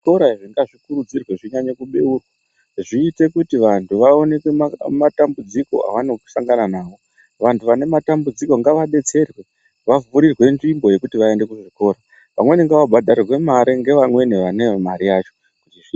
Zvikora izvi ngazvikurudzirwe zvinyanye kubeurwe zviite kuti vantu vaoneke matambudziko avanosangana navo. Vantu vane matambudziko ngavabetserwe kuvhurirwe nzvimbo yekuti vaende kuzvikora vamweni ngava bhadharirwe mare ngevamweni vanevo mare yacho.